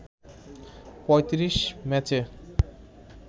৩৫ ম্যাচে